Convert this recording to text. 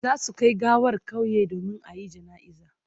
Za su kai gawar kauyen domin a yi jana'iza